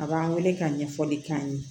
A b'an wele ka ɲɛfɔli k'an ye